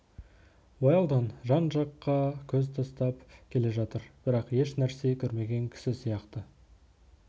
уэлдон жан-жаққа көз тастап келе жатыр бірақ ешнәрсе көрмеген кісі сияқты